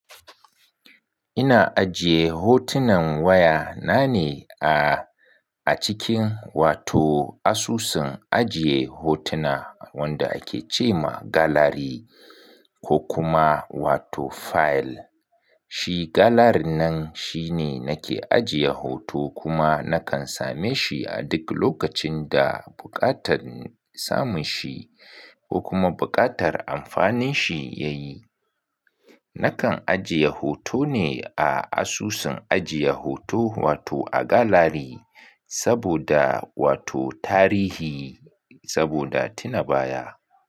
Ina ajiye hotunan wayana ne a, a cikin wato asusun ajiye hotuna wanda ake ce ma gallery ko kuma wato file. Shi gallery nan shine nake ajiye hoto kuma nakan same shi a duk lokacin da buƙatar samun shi ko kuma buƙatar amfanin shi ya yi. Nakan ajiye hoto ne a asusun ajiye hoto wato a gallery saboda wato tarihi saboda tuna baya.